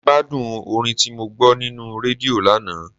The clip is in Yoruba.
Mo gbádùn orin tí mo gbọ́ nínú rédíò lánàá.